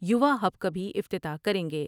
You واہب کا بھی افتتاح کر یں گے ۔